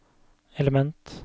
element